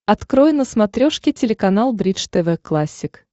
открой на смотрешке телеканал бридж тв классик